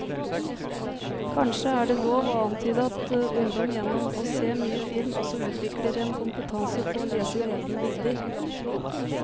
Kanskje er det lov å antyde at ungdom gjennom å se mye film også utvikler en kompetanse på å lese levende bilder.